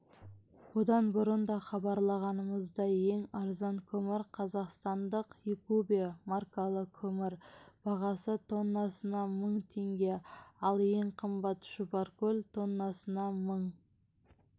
бұдан бұрын да хабарлағанымыздай ең арзан көмір қазақстандық йкүбе маркалы көмір бағасы тоннасына мың теңге ал ең қымбаты шұбаркөл тоннасына мың